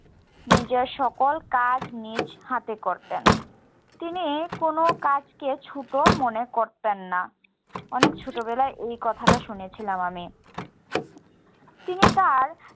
নিজের সকল কাজ নিজ হাতে করতেন। তিনি কোনো কাজকে ছোট মনে করতেন না। অনেক ছোটবেলায় এই কথাটা শুনেছিলাম আমি। তিনি তার